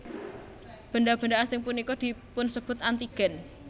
Benda benda asing punika dipunsebat antigen